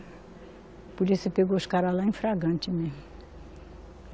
A polícia pegou os caras lá, em flagrante mesmo.